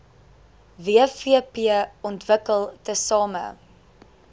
wvp ontwikkel tesame